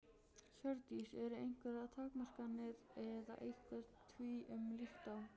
Hjördís: Eru einhverjar takmarkanir eða eitthvað því um líkt á?